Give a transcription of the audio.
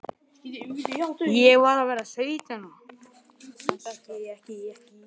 Ég var að verða sautján ára.